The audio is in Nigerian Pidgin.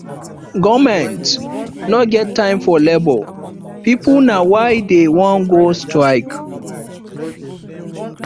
government no get time for labour pipu na why dey wan go strike